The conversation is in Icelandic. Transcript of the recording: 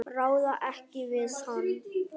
Ráða ekki við hann.